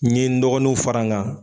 N ye n dɔgɔninw fara n kan.